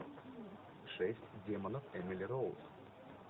шесть демонов эмили роуз